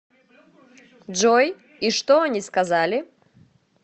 джой и что они сказали